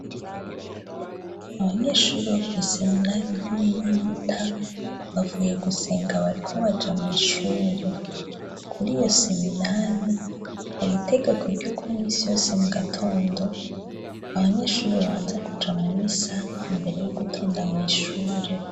Abanyeshuri wa kw'i seminali ntoy'yibuta bavuye gusenga bariko baja mw'ishure kuri iyo seminayi hari itegeko ry'ukomisi yose mu gatondo abanyeshuriba banza kuja mu misa imbere y' ugutonda mw'ishure.